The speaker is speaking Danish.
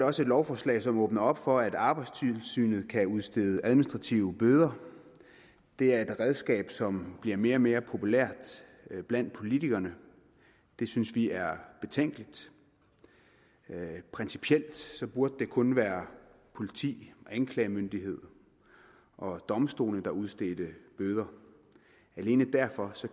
også et lovforslag som åbner for at arbejdstilsynet kan udstede administrative bøder det er et redskab som bliver mere og mere populært blandt politikerne det synes vi er betænkeligt principielt burde det kun være politi anklagemyndighed og domstole der udstedte bøder alene derfor